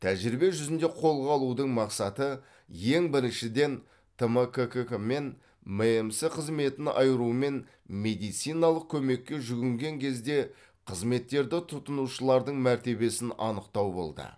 тәжірибе жүзінде қолға алудың мақсаты ең біріншіден тмккк мен мәмс қызметін айыру мен медициналық көмекке жүгінген кезде қызметтерді тұтынушылардың мәртебесін анықтау болды